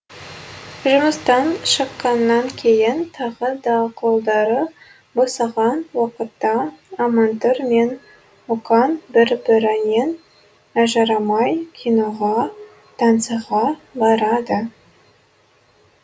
жұмыстан шыққаннан кейін тағы да қолдары босаған уақытта амантұр мен мұқан бір бірінен ажырамай киноға танцыға барады